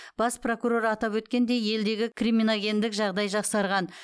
бас прокурор атап өткендей елдегі криминогендік жағдай жақсарған